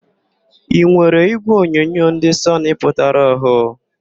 Ị nwere ígwèonyonyo ndị Sọnị pụtara ọhụụ?